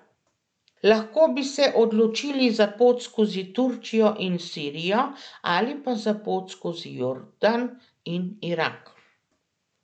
Lahko bi se odločili za pot skozi Turčijo in Sirijo ali pa za pot skozi Jordan in Irak.